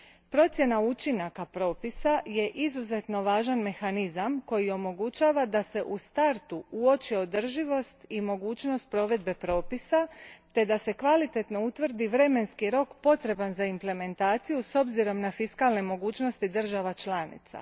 Procjena učinaka propisa je izuzetno važan mehanizam koji omogućava da se u startu uoče održivost i mogućnost provedbe propisa te da se kvalitetno utvrdi vremenski rok potreban za implementaciju s obzirom na fiskalne mogućnosti država članica.